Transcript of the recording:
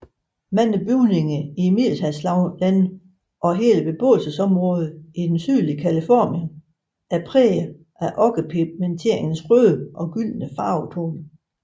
Mange bygninger i Middelhavslandene og hele beboelsesområder i det sydlige Californien er prægede af okkerpigmenternes røde og gyldne farvetoner